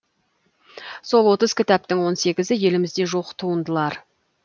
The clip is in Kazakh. сол отыз кітаптың он сегізі елімізде жоқ туындылар